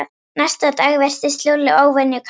Næsta dag virtist Lúlli óvenju kátur.